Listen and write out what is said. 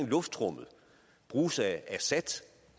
luftrummet bruges af assad